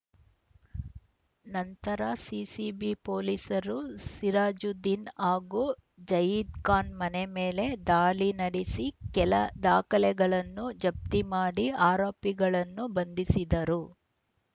ನಂತರ ಸಿಸಿಬಿ ಪೊಲೀಸರು ಸಿರಾಜುದ್ದೀನ್‌ ಹಾಗೂ ಜಯೀದ್‌ ಖಾನ್‌ ಮನೆ ಮೇಲೆ ದಾಳಿ ನಡೆಸಿ ಕೆಲ ದಾಖಲೆಗಳನ್ನು ಜಪ್ತಿ ಮಾಡಿ ಆರೋಪಿಗಳನ್ನು ಬಂಧಿಸಿದರು